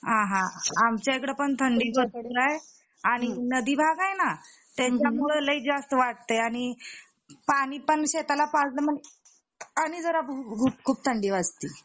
अहा आमचा कडेपण थंडी भरपूर आहे आणि नदीभाग आहे ना त्याच्यामुळे लई जास्त वाटतं आहे आणि पाणीपण शेताला पाजलं आणि मग आणि जरा खूप थंडी वाजती.